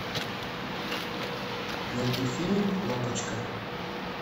найди фильм лапочка